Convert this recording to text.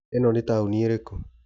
Ĩno ni taoni ĩrĩkũ